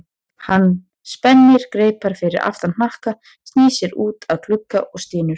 Hann spennir greipar fyrir aftan hnakka, snýr sér út að glugga og stynur.